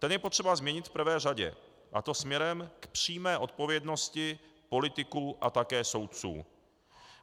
Ten je potřeba změnit v prvé řadě, a to směrem k přímé odpovědnosti politiků a také soudců.